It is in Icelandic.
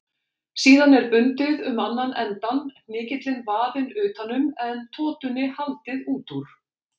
Síðan er bundið um annan endann, hnykillinn vafinn utan um en totunni haldið út úr.